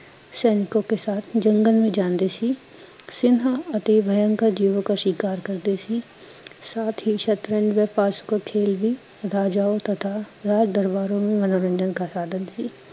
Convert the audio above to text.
ਸੈਨਿਕੋ ਕੇ ਸਾਥ ਜੰਗਲ ਮੇ ਜਾਂਦੇ ਸੀ ਸਿਨਹਾ ਅਤੇ ਭਯਨਕਰ ਜੀਵੋ ਕਾ ਸ਼ਿਕਾਰ ਕਰਤੇ ਸੀ, ਸਾਥ ਹੀਂ ਸ਼ਤਰੰਜ ਵੇਪਾਸ ਕੋ ਖੇਲ ਬੀ, ਰਾਜਾਓ ਤਥਾ ਰਜ਼ਦਰਬਰੋਂ ਮੇ ਮਨਰੋਣਜਨ ਕਾ ਸਾਧਨ ਸੀ